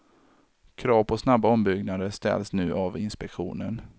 Krav på snabba ombyggnader ställs nu av inspektionen.